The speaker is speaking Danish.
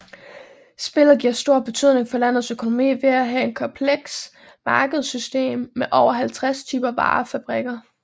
Spillet giver stor betydning for landets økonomi ved at have et komplekst markedssystem med over 50 typer varer og fabrikker